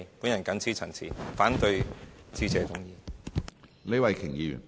我謹此陳辭，反對致謝議案。